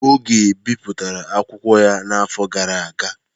Oge bipụtara akwụkwọ ya n'afọ gara aga.